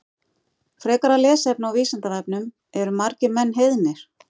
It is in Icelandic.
Frekara lesefni á Vísindavefnum Eru margir menn heiðnir?